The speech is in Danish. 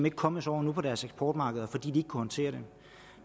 ikke kommet sig over på deres eksportmarkeder fordi de ikke håndtere det